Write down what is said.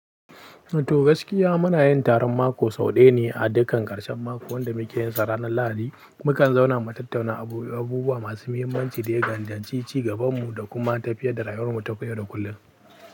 To gaskiya muna yin taron mako sau ɗaya ne a dukan ƙarshen mako wanda muke yinsa ranar Lahadi. Mukan zauna mu tattauna abubuwa masu muhimmanci da gandanci ci gabanmu da kuma tafiyar da rayuwarmu ta koyau da kullum.